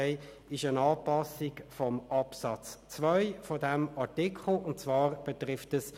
Es gab drei grössere Themenbereiche.